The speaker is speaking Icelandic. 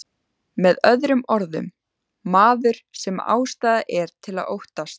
Með öðrum orðum, maður sem ástæða er til að óttast.